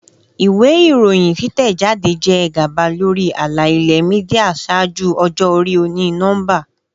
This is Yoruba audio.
Iwe iroyin titẹjade jẹ gaba lori ala-ilẹ media ṣaaju ọjọ-ori oni-nọmba.